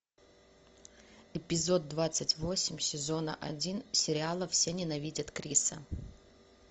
эпизод двадцать восемь сезона один сериала все ненавидят криса